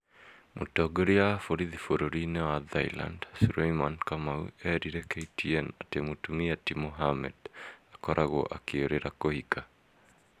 Mũtongoria wa borithi bũrũri-inĩ wa Thailand, Sureimani kamau erire KTN atĩ mũtumia ti mohammed akoragwo akĩũrĩra kũhika".